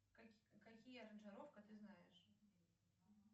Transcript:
какие аранжировка ты знаешь